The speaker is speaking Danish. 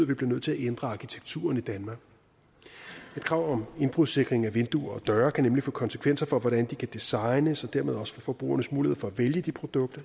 vi bliver nødt til at ændre arkitekturen i danmark et krav om indbrudssikring af vinduer og døre kan nemlig få konsekvenser for hvordan de kan designes og dermed også for forbrugernes mulighed for at vælge de produkter